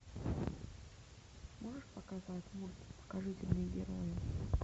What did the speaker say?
можешь показать мульт покажите мне героя